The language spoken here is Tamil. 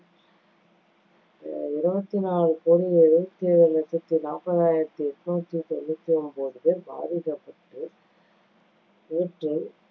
அஹ் இருவத்தி நாலு கோடி எழுவத்தி ஏழு லட்சத்தி நாப்பது ஆயிரத்தி எண்ணூத்தி தொண்ணூத்தி ஒன்பது பேர் பாதிக்கப்பட்டு இவற்றுள்